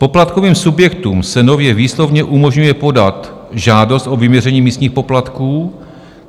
Poplatkovým subjektům se nově výslovně umožňuje podat žádost o vyměření místních poplatků.